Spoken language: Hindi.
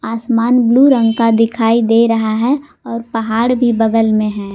आसमान ब्लू रंग का दिखाई दे रहा है और पहाड़ भी बगल में हैं।